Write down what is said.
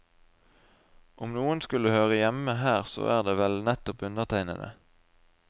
Om noen skulle høre hjemme her så er det vel nettopp undertegnede.